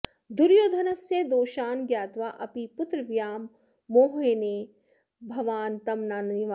दुर्योधनस्य दोषान् ज्ञात्वा अपि पुत्रव्यामोहेन भवान् तं न निवारयति